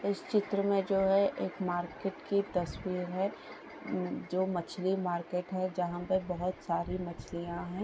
इस चित्र में जो है एक मार्केट की तस्वीर है जो मछली मार्केट है जहाँ पे बहुत सारी मछलियाँ है।